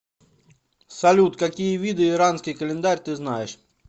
салют какие виды иранский календарь ты знаешь